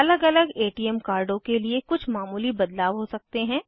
अलग अलग एटीएम कार्डों के लिए कुछ मामूली बदलाव हो सकते हैं